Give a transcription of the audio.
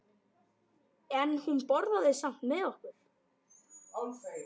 En hún borðaði samt með okkur.